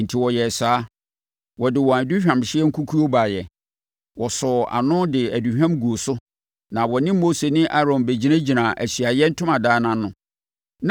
Enti wɔyɛɛ saa. Wɔde wɔn aduhwamhyeɛ nkukuo baeɛ. Wɔsɔɔ ano de aduhwam guu so na wɔne Mose ne Aaron bɛgyinagyinaa Ahyiaeɛ Ntomadan no ano.